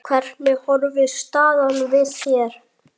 Hvernig horfir staðan við þér?